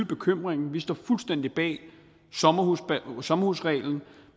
bekymringen vi står fuldstændig bag sommerhusreglen sommerhusreglen